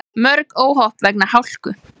Mörg óhöpp vegna hálku